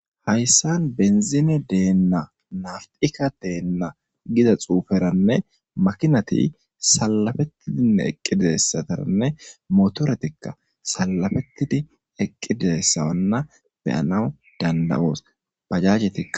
hayssan benzine deenna naftika deenna gida xuuferanne makinati salafettidinne eqqidiessataranne motoretikka salafettidi eqqidiessawanna beyanaw dandawoos bajajetika